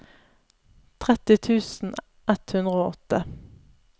tretti tusen ett hundre og åtte